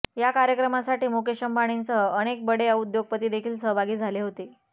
या कार्यक्रमासाठी मुकेश अंबानींसह अनेक बडे उद्योगपती देखील सहभागी झाले होते